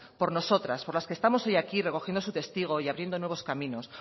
por nosotras por las que estamos hoy aquí recogiendo su testigo y abriendo nuevos caminos